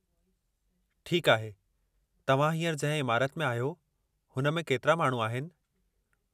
ठीकु आहे, तव्हां हींअर जंहिं इमारति में आहियो, हुन में केतिरा माण्हू आहिनि?